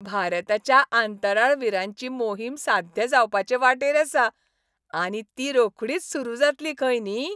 भारताच्या अंतराळवीरांची मोहीम साध्य जावपाचे वाटेर आसा आनी ती रोखडीच सुरू जातली खंय न्ही.